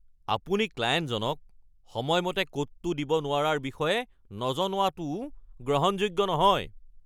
আপুনি ক্লায়েণ্টজনক সময়মতে কোডটো দিব নোৱাৰাৰ বিষয়ে নজনোৱাটোও গ্ৰহণযোগ্য নহয়।